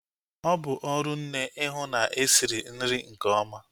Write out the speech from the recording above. Ọ bụ ọrụ nne ihu na-esiri nri nke ọma